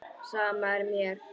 Sama er mér.